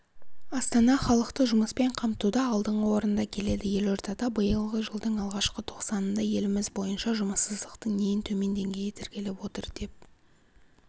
астана халықты жұмыспен қамтуда алдыңғы орында келеді елордада биылғы жылдың алғашқы тоқсанында еліміз бойынша жұмыссыздықтың ең төмен деңгейі тіркеліп отыр деп